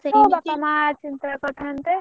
ବାପା ମା ଚିନ୍ତା କରିଥାନ୍ତେ।